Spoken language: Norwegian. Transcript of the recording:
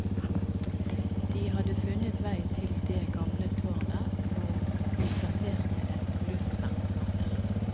De hadde funnet vei til det gamle tårnet, hvor de plasserte et luftvernbatteri.